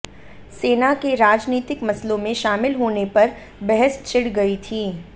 सेना के राजनीतिक मसलों में शामिल होने पर बहस छिड़ गई थी